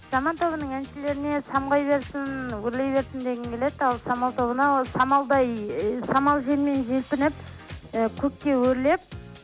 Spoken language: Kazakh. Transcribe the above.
заман тобының әншілеріне самғай берсін өрлей берсін дегім келеді ал самал тобына самалдай і самал желмен желпініп і көкке өрлеп